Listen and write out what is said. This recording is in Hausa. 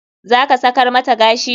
Zaka sakar mata gashi?